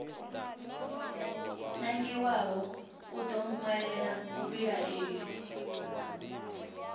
nangiwaho u ḓo ṅwalela muvhilaeli